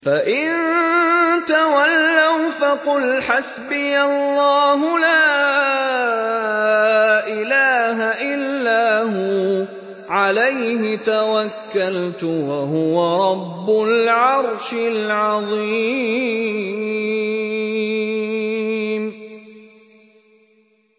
فَإِن تَوَلَّوْا فَقُلْ حَسْبِيَ اللَّهُ لَا إِلَٰهَ إِلَّا هُوَ ۖ عَلَيْهِ تَوَكَّلْتُ ۖ وَهُوَ رَبُّ الْعَرْشِ الْعَظِيمِ